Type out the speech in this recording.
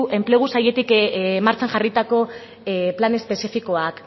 enplegu sailetik martxan jarritako plan espezifikoak